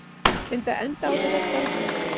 Binda enda á þetta kvalræði.